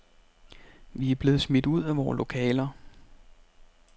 Vi er blevet smidt ud af vore lokaler.